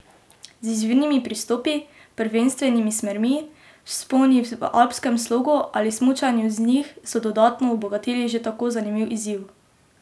Z izvirnimi pristopi, prvenstvenimi smermi, vzponi v alpskem slogu ali smučanju z njih so dodatno obogatili že tako zanimiv izziv.